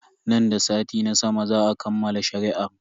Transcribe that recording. Nan da sati na sama za a kammala shari'ar.